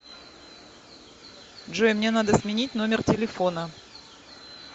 джой мне надо сменить номер телефона